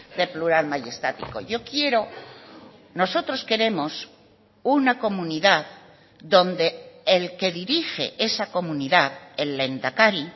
de plural mayestático yo quiero nosotros queremos una comunidad donde el que dirige esa comunidad el lehendakari